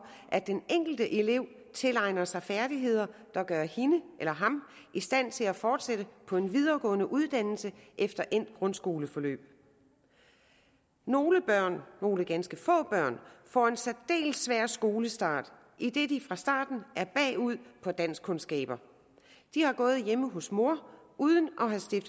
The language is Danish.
at den enkelte elev tilegner sig færdigheder der gør hende eller ham i stand til at fortsætte på en videregående uddannelse efter endt grundskoleforløb nogle børn nogle ganske få børn får en særdeles svær skolestart idet de fra starten er bagud på danskkundskaber de har gået hjemme hos mor uden